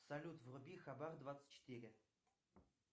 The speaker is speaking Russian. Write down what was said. салют вруби хабар двадцать четыре